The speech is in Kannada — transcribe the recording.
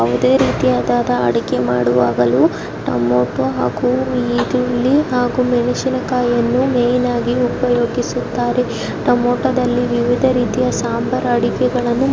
ಯಾವುದೇ ರೀತಿಯ ಅಡುಗೆ ಮಾಡುವಾಗಲೂ ಟಮೊಟೊ ಹಾಗೂ ಈರುಳ್ಳಿ ಹಾಗೂ ಮೆಣಸಿನಕಾಯಿ ಅನ್ನು ಮೇನಾಗಿ ಉಪಯೋಗಿಸುತ್ತಾರೆ ಟೊಮೊಟೊದಲ್ಲಿ ವಿವಿಧ ರೀತಿಯ ಸಾಂಬಾರು ಅಡುಗೆಯನ್ನು ಮಾಡುತ್ತಾರೆ.